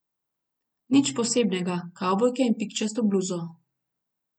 Nič posebnega, kavbojke in pikčasto bluzo.